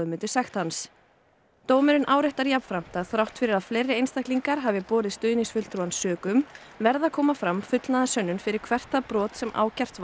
dómurinn áréttar jafnframt að þrátt fyrir að fleiri einstaklingar hafi borið stuðningsfulltrúann sökum verði að koma fram fullnaðarsönnun fyrir hvert það brot sem ákært var fyrir í